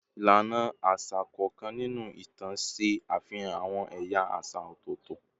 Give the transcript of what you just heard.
Ilana aṣa kọọkan ninu itan ṣe afihan awọn ẹya aṣa ọtọtọ